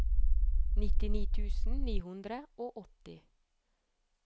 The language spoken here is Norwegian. nittini tusen ni hundre og åtti